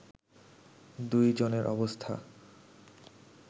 দুই জনের অবস্থা